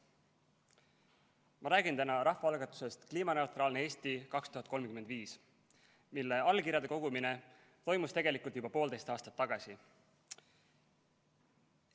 Ma räägin täna rahvaalgatusest "Kliimaneutraalne Eesti 2035", mille allkirjade kogumine toimus tegelikult juba poolteist aastat tagasi.